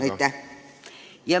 Aitäh!